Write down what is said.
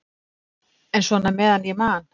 En svona meðan ég man.